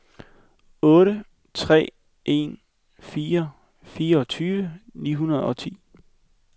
otte tre en fire fireogtyve ni hundrede og ti